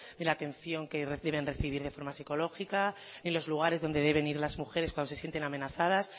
ni la atención que reciben de forma psicológica y los lugares donde deben ir las mujeres cuando se sienten amenazadas